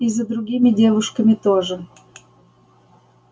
и за другими девушками тоже